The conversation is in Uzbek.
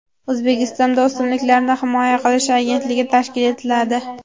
O‘zbekistonda O‘simliklarni himoya qilish agentligi tashkil etiladi.